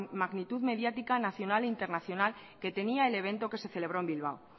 magnitud mediática nacional e internacional que tenía el evento que se celebró en bilbao